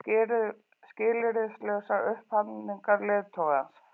skilyrðislausrar upphafningar leiðtogans.